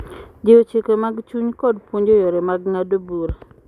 Jiwo chike mag chuny kod puonjo yore mag ng'ado bura,